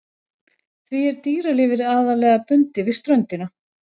Því er dýralífið aðallega bundið við ströndina.